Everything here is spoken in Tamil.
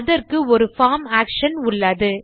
இதற்கு ஒரு பார்ம் ஆக்ஷன் உள்ளது